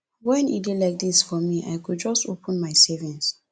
wen e dey like dis for me i go just open my savings